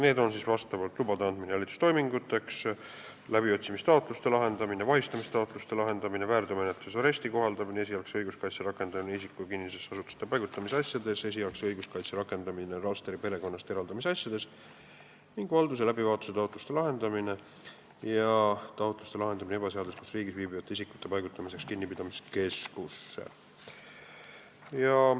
Need menetlustoimingud on loa andmine jälitustoiminguks, läbiotsimistaotluse lahendamine, vahistamistaotluse lahendamine, väärteomenetluses aresti kohaldamine, esialgse õiguskaitse rakendamine isiku kinnisesse asutusesse paigutamise asjas, esialgse õiguskaitse rakendamine lapse perekonnast eraldamise asjas, valduse läbivaatuse taotluse lahendamine ja taotluse lahendamine ebaseaduslikult riigis viibiva isiku paigutamiseks kinnipidamiskeskusesse.